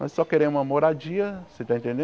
Nós só queremos uma moradia, você está